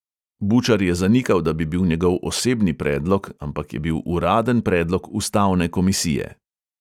Bučar je zanikal, da bi bil njegov osebni predlog, ampak je bil uraden predlog ustavne komisije.